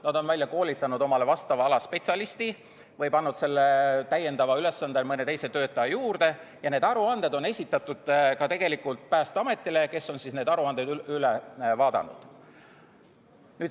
Nad on välja koolitanud omale vastava ala spetsialisti või pannud selle täiendava ülesande mõne teise töötaja juurde, ja need aruanded on esitatud ka Päästeametile, kes on need aruanded üle vaadanud.